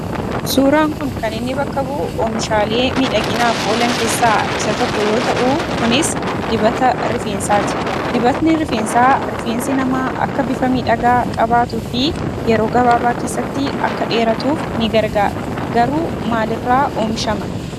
Suuraan kun kan inni bakka bu'u oomishaalee miidhaginaaf oolan keessaa isa tokko yoo ta'uu kunis dibata rifeensaati. Dibatni rifeensaa rifeensi namaa akka bifa miidhagaa qabaatuu fi yeroo gabaabaa keessatti akka dheeratuuf ni gargaara. Garuu maalirraa oomishama?